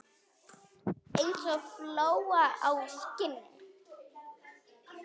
Eins og fló á skinni.